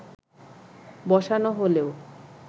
বসানো হলেও